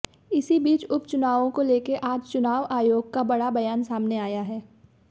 इसी बीच उपचुनावों को लेकर आज चुनाव आयोग का बड़ा बयान सामने आया है